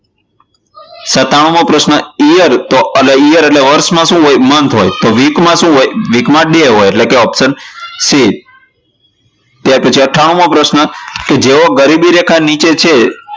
સત્તાનુમો પ્રશ્ન years એટલે કે year માં શું હોય? તો months હોય તો week માં શું હોય? week માં day હોયએટલે કે option c પછી અઠ્ઠાણું મો પ્રશ્ન જેઓ ગરીબી રેખા નીચે છે